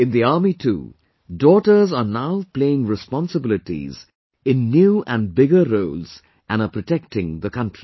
In the Army too, daughters are now playing responsibilities in new and bigger roles and are protecting the country